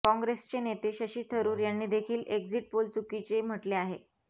काँग्रेसचे नेते शशी थरुर यांनी देखील एक्झिट पोल चुकीचे म्हटले आहे